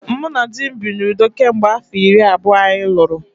Mụ na di m bi n’udo kemgbe afọ iri abụọ anyị lụrụ